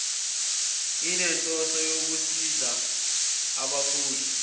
inenhloso yokusiza abakhokhi